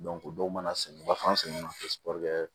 dɔw mana sɛnɛ u b'a fɔ an sen ma